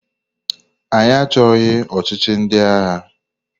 Anyị achọghị ọchịchị ndị agha!